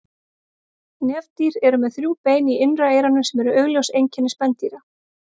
Nefdýr eru með þrjú bein í innra eyranu sem eru augljós einkenni spendýra.